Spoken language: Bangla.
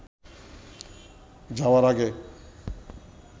যাওয়ার আগে